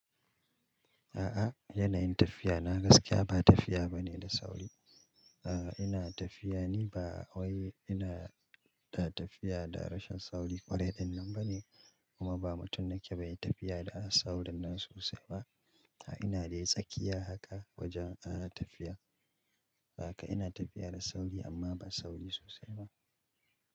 A'a yanayin tafiya na gaskiya ba tafiya bane da sauri. Ah ina tafiya ne ba wai ina da tafiya da rashin sauri ƙwarai ɗinnan ba ne, kuma ba mutum nake bai tafiya da a saurin nan sosai ba. Ah ina da tsakiya haka wajen ah tafiya. Ah kai ina tafiya da sauri amma ba sauri sosai ba.